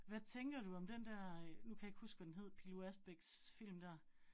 Hvad tænker du om den der øh nu kan jeg ikke huske, hvad den hed Pilou Asbæks film dér